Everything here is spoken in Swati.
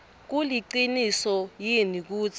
kuliciniso yini kutsi